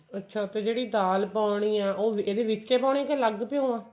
ਅੱਛਾ ਤੇ ਜਿਹੜੀ ਦਾਲ ਪਾਉਣੀ ਹੈ ਉਹ ਇਹਦੇ ਵਿੱਚ ਹੀ ਪਾਉਣੀ ਹੈ ਜਾਂ ਅਲੱਗ ਭਿਉਂ ਵਾ